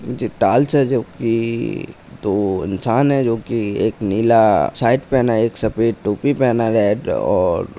नीचे टाइल्स है जो कि दो इंसान है जो की एक नीला ही शर्ट पहना है एक सफेद टोपी पहना है और--